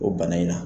O bana in na